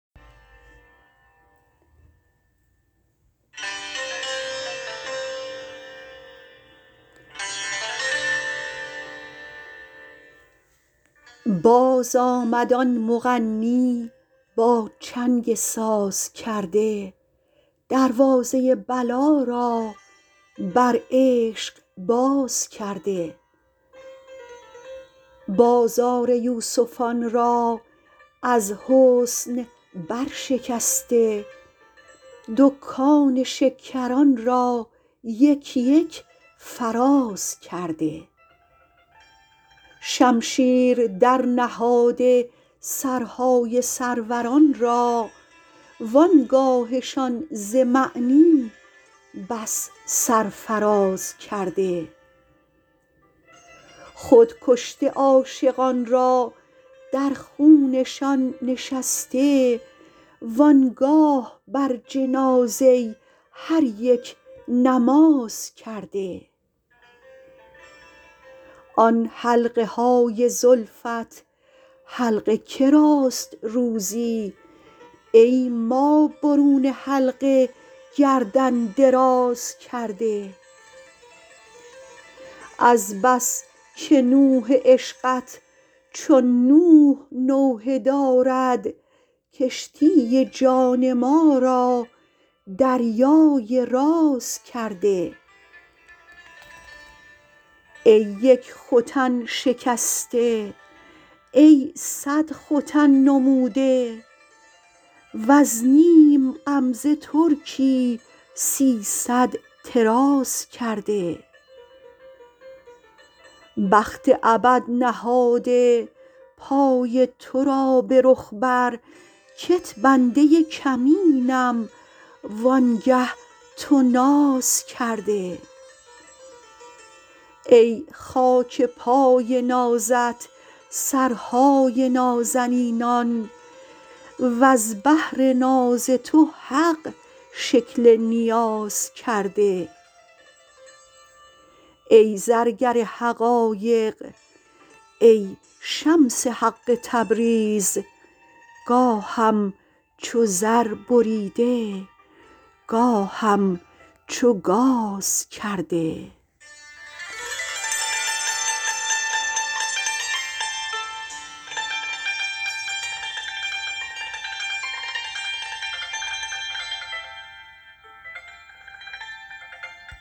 بازآمد آن مغنی با چنگ سازکرده دروازه بلا را بر عشق باز کرده بازار یوسفان را از حسن برشکسته دکان شکران را یک یک فراز کرده شمشیر درنهاده سرهای سروران را و آن گاهشان ز معنی بس سرفراز کرده خود کشته عاشقان را در خونشان نشسته و آن گاه بر جنازه هر یک نماز کرده آن حلقه های زلفت حلق که راست روزی ای ما برون حلقه گردن دراز کرده از بس که نوح عشقت چون نوح نوحه دارد کشتی جان ما را دریای راز کرده ای یک ختن شکسته ای صد ختن نموده وز نیم غمزه ترکی سیصد طراز کرده بخت ابد نهاده پای تو را به رخ بر کت بنده کمینم وآنگه تو ناز کرده ای خاک پای نازت سرهای نازنینان وز بهر ناز تو حق شکل نیاز کرده ای زرگر حقایق ای شمس حق تبریز گاهم چو زر بریده گاهم چو گاز کرده